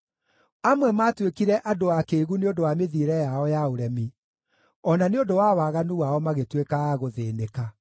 Amwe maatuĩkire andũ akĩĩgu nĩ ũndũ wa mĩthiĩre yao ya ũremi, o na nĩ ũndũ wa waganu wao magĩtuĩka a gũthĩĩnĩka.